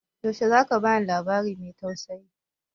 Yaushe za ka ba ni labari mai tausayi?